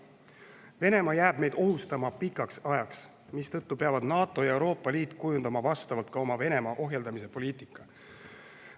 Venemaa jääb meid ohustama pikaks ajaks, mistõttu peavad NATO ja Euroopa Liit kujundama vastavalt oma Venemaa ohjeldamise poliitikat.